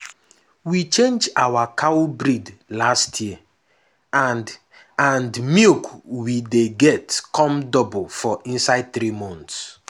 we change our cow breed last year and and milk we dey get come double for inside three months.